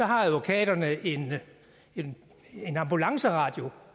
har advokaterne en en ambulanceradio